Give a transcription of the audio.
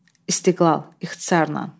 İstiqlal, ixtisarından.